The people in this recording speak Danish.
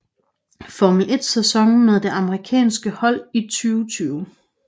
Formel 1 sæson med det amerikanske hold i 2020